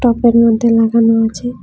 টবের মধ্যে লাগানো আছে।